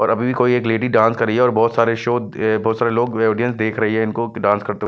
और अभी भी कोई एक लेडी डांस कर रही है और बहुत सारे शो बहुत सारे लोग ऑडियंस देख रही हैं इनको डांस करते हुए।